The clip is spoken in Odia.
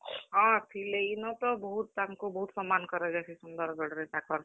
ହଁ, ଥିଲେ ଇନତ ବହୁତ୍ ତାଙ୍କୁ ବହୁତ୍ ସମ୍ମାନ୍ କରାଯାଏସି ସୁନ୍ଦର୍ ଗଡ ରେ ତାକର୍।